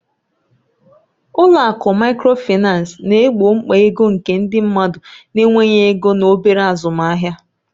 Ụlọ akụ Microfinance na-egbo mkpa ego nke ndị mmadụ na-enweghị ego na obere azụmahịa.